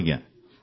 ହଁ ଆଜ୍ଞା